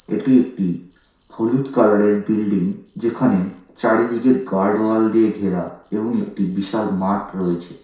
এটি একটি হলুদ কালার -এর বিল্ডিং যেখানে চারিদিকে গার্ড ওয়াল দিয়ে ঘেরা এবং একটি বিশাল মাঠ রয়েছে।